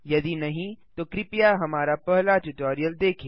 यदि नहीं तो कृपया हमारा पहला ट्यूटोरियल देखें